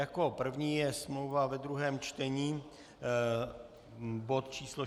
Jako první je smlouva ve druhém čtení, bod číslo